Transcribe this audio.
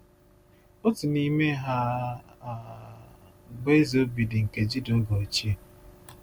Otu n’ime ha um bụ Eze Obidi nke Juda oge ochie.